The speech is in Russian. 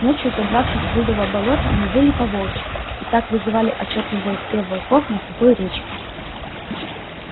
ночью забравшись в блудово болото мы выли по-волчьи и так вызвали ответный вой всех волков на сухой речке